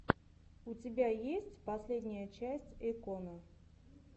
у тебя есть последняя часть эйкона